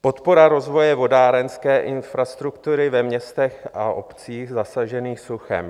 Podpora rozvoje vodárenské infrastruktury ve městech a obcích zasažených suchem.